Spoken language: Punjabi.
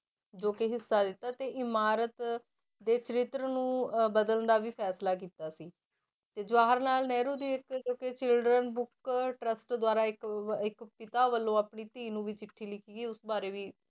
ਜੋ ਕਿ ਹਿੱਸਾ ਲਿੱਤਾ ਤੇ ਇਮਾਰਤ ਦੇ ਚਰਿਤਰ ਨੂੰ ਅਹ ਬਦਲਣ ਦਾ ਵੀ ਫੈਸਲਾ ਕੀਤਾ ਸੀ ਤੇ ਜਵਾਹਰ ਲਾਲ ਨਹਿਰੂ ਦੀ ਇੱਕ ਜੋ ਕਿ children book trust ਦੁਆਰਾ ਇੱਕ ਅਹ ਇੱਕ ਪਿਤਾ ਵੱਲੋਂ ਆਪਣੀ ਧੀ ਨੂੰ ਵੀ ਚਿੱਠੀ ਲਿਖੀ ਉਸ ਬਾਰੇ ਵੀ